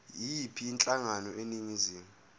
yiyiphi inhlangano eningizimu